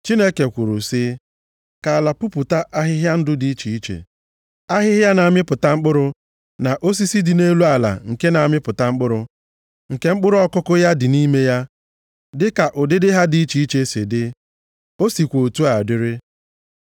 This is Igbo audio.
Chineke kwuru sị, “Ka ala pupụta ahịhịa ndụ dị iche iche: ahịhịa na-amịpụta mkpụrụ, na osisi dị nʼelu ala nke na-amịpụta mkpụrụ, nke mkpụrụ ọkụkụ ya dị nʼime ya, dịka ụdịdị ha dị iche iche si dị.” O sikwa otu a dịrị.